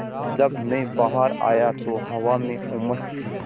जब मैं बाहर आया तो हवा में उमस थी